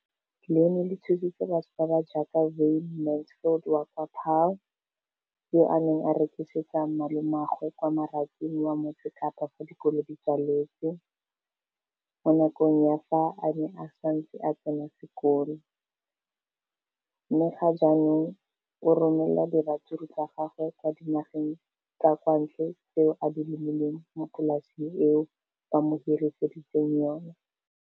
Leno le thusitse batho ba ba jaaka Wayne Mansfield, 33, wa kwa Paarl, yo a neng a rekisetsa malomagwe kwa Marakeng wa Motsekapa fa dikolo di tswaletse, mo nakong ya fa a ne a santse a tsena sekolo, mme ga jaanong o romela diratsuru tsa gagwe kwa dinageng tsa kwa ntle tseo a di lemileng mo polaseng eo ba mo hiriseditseng yona.